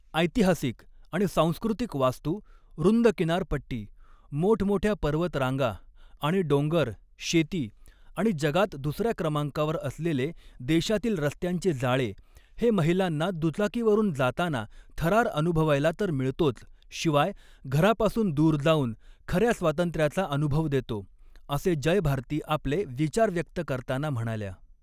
ऐतिहासिक आणि सांस्कृतिक वास्तू, रूंद किनारपट्टी, मोठमोठय़ा पर्वतरांगा आणि डोंगर, शेती, आणि जगात दुसऱ्या क्रमांकावर असलेले देशातील रस्त्यांचे जाळे, हे महिलांना दुचाकीवरून जाताना थरार अनुभवायला तर मिळतोच, शिवाय घरापासून दूर जाऊन खऱ्या स्वातंत्र्याचा अनुभव देतो, असे जयभारती आपले विचार व्यक्त करताना म्हणाल्या.